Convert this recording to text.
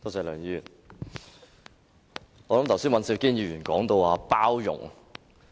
梁議員，剛才尹兆堅議員提到包容。